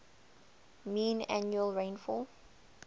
mean annual rainfall